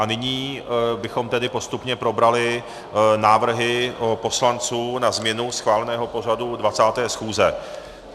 A nyní bychom tedy postupně probrali návrhy poslanců na změnu schváleného pořadu 20. schůze.